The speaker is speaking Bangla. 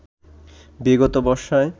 বিগত বর্ষায়